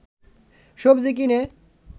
সবজি কিনে